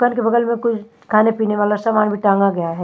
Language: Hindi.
दुकान के बगल में कोई खाने पीने वाला सामान भी टांगा गया है।